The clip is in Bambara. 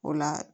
O la